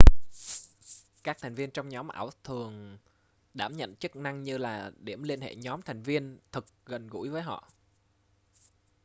các thành viên trong nhóm ảo thường đảm nhận chức năng như là điểm liên hệ nhóm thành viên thực gần gũi với họ